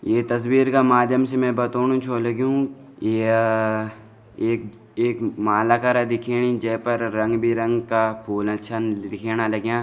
ये तस्वीर का माध्यम से में बताणु छौ लगयूं या एक एक माला करा दिख्याणी जे पर रंग-बिरंग का फूला छिन दिख्याणा लाग्यां।